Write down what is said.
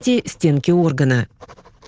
те стенки органа